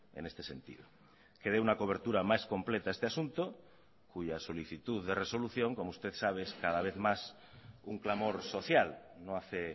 en este sentido que dé una cobertura más completa a este asunto cuya solicitud de resolución como usted sabe es cada vez más un clamor social no hace